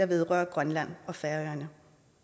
vedrører grønland og færøerne